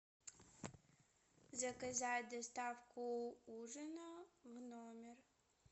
заказать доставку ужина в номер